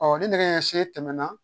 ni nɛgɛ ɲɛ see tɛmɛna